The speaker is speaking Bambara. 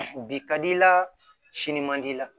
Bi ka di i la sini man di i la